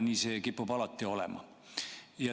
Nii see kipub alati olema.